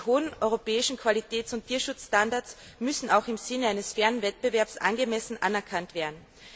Die hohen europäischen Qualitäts und Tierschutzstandards müssen auch im Sinne eines fairen Wettbewerbs angemessen anerkannt werden.